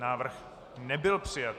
Návrh nebyl přijat.